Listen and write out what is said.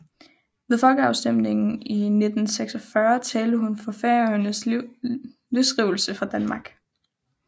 Ved folkeafstemningen i 1946 talte hun for Færøernes løsrivelse fra Danmark